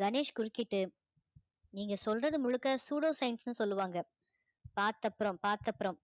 கணேஷ் குறுக்கிட்டு நீங்க சொல்றது முழுக்க pseudoscience ன்னு சொல்லுவாங்க பார்த்த அப்புறம் பார்த்த அப்புறம்